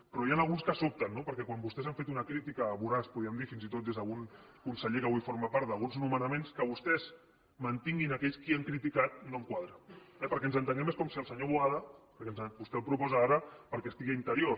però n’hi ha alguns que sobten no perquè quan vostès han fet una crítica voraç podríem dir fins i tot des d’algun conseller que avui en forma part d’alguns nomenaments que vostès mantinguin aquells que han criticat no em quadra eh perquè ens entenguem és com si el senyor boada vostè el proposa ara perquè estigui a interior